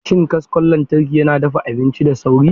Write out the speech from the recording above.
Shin kaskon lantarki yana dafa abinci da sauri?